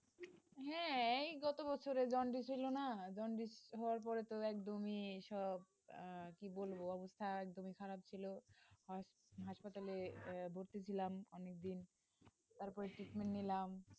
হ্যাঁ হ্যাঁ এই গত বছরে জন্ডিস হল না, জন্ডিস হওয়ার পরে ত একদমই সব কি বলব hospital এ ভর্তি ছিলাম অনেক দিন তারপরে নিলাম,